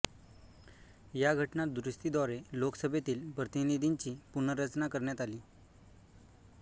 या घटना दुरूस्तीद्वारे लोकसभेतील प्रतिनिधींची पुनर्रचना करण्यात आली